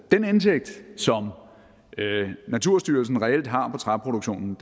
den indtægt som naturstyrelsen reelt har på træproduktion